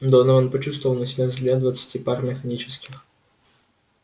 донован почувствовал на себе взгляд двадцати пар механических